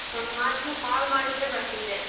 ಒಂದ್ ಮಾತು call ಮಾಡಿದ್ರೆ ಬರ್ತಿದ್ದೆ.